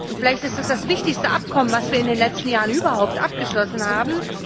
Vielleicht ist es das wichtigste Abkommen, das wir in den letzten Jahren überhaupt abgeschlossen haben.